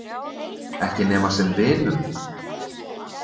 Ekki nema sem vinum.